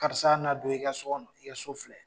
Karisa n'a don i ka so kɔnɔ i ka so filɛ